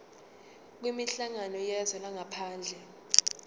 kwinhlangano yezwe langaphandle